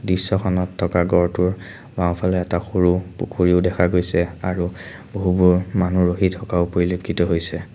দৃশ্যখনত থকা গঁড়টোৰ বাওঁফালে এটা সৰু পুখুৰীও দেখা গৈছে আৰু বহুবোৰ মানুহ ৰখি থকাও পৰিলেক্ষিত হৈছে।